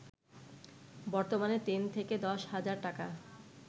বর্তমানে ৩ থেকে ১০ হাজার টাকা